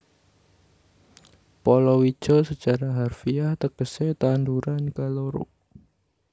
Palawija sacara harfiah tegesé tanduran kaloro